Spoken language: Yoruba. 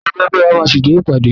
Akọ̀wé ẹgbẹ́ wa máa ṣíde ìpàdé.